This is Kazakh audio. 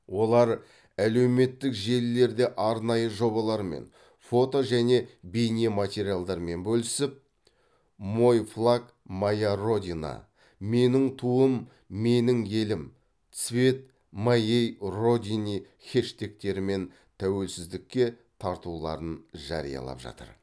олар әлеуметтік желілерде арнайы жобалармен фото және бейне материалдармен бөлісіп мойфлагмояродина меніңтуымменіңелім цветмоейродине хэштегтерімен тәуелсіздікке тартуларын жариялап жатыр